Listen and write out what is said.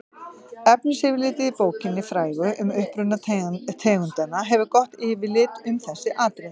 efnisyfirlitið í bókinni frægu um uppruna tegundanna gefur gott yfirlit um þessi atriði